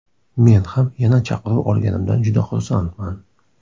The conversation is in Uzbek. Men ham yana chaqiruv olganimdan juda xursandman.